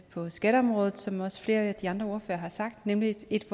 på skatteområdet som også flere af de andre ordførere har sagt nemlig et